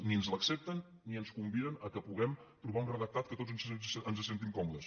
ni ens l’accepten ni ens conviden que puguem trobar un redactat en què tots ens sentim còmodes